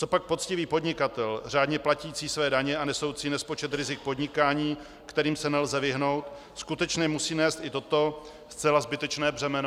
Copak poctivý podnikatel, řádně platící své daně a nesoucí nespočet rizik podnikání, kterým se nelze vyhnout, skutečně musí nést i toto zcela zbytečné břemeno?